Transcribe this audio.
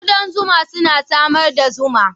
Ƙudan zuma suna samar da zuma